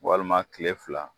Walima kile fila